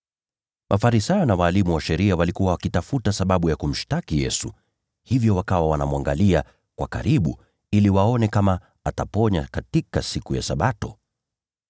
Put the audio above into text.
Mafarisayo na walimu wa sheria walikuwa wakitafuta sababu ya kumshtaki Yesu. Kwa hivyo wakawa wanamwangalia sana ili waone kama ataponya katika siku ya Sabato.